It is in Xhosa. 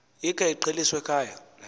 ikhe iqheliswe ekhaya